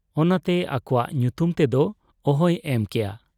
ᱚᱱᱟᱛᱮ ᱟᱠᱚᱣᱟᱜ ᱧᱩᱛᱩᱢ ᱛᱮᱫᱚ ᱚᱦᱚᱭ ᱮᱢ ᱠᱮᱭᱟ ᱾